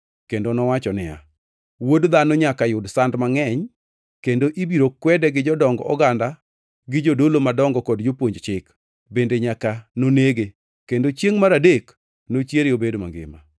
Kendo nowacho niya, “Wuod Dhano nyaka yud sand mangʼeny, kendo ibiro kwede gi jodong oganda gi jodolo madongo kod jopuonj chik, bende nyaka nonege kendo chiengʼ mar adek nochiere obed mangima.”